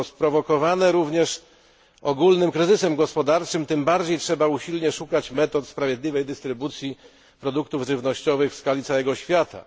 Przyczynił się do tego również ogólny kryzys gospodarczy, tym bardziej trzeba usilnie szukać metod sprawiedliwej dystrybucji produktów żywnościowych w skali całego świata.